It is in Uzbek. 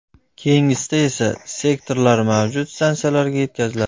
Keyingisida esa, sektorlar mavjud stansiyalarga yetkaziladi.